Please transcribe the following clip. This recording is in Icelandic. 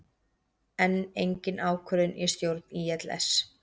Enn engin ákvörðun í stjórn ÍLS